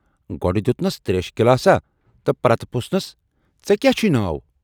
گۅڈٕ دٮُ۪ت نَس تریشہِ گِلاساہ تہٕ پتہٕ پرژھنس"ژے کیاہ چھُے ناو؟